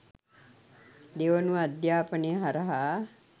දෙවනුව අධ්‍යාපනය හරහා